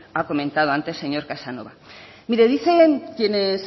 ha comentado antes señor casanova mire dicen quienes